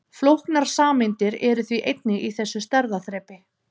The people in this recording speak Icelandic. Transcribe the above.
Flóknar sameindir eru því einnig í þessu stærðarþrepi.